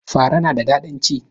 Fara na da ɗadin ci?